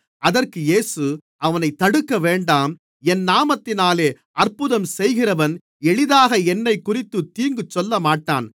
அதற்கு இயேசு அவனைத் தடுக்கவேண்டாம் என் நாமத்தினாலே அற்புதம் செய்கிறவன் எளிதாக என்னைக்குறித்துத் தீங்கு சொல்லமாட்டான்